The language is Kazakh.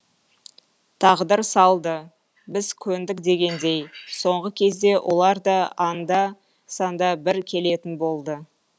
тағдыр салды біз көндік дегендей соңғы кезде олар да анда санда бір келетін болды